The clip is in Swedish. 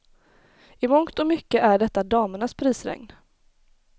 I mångt och mycket är detta damernas prisregn.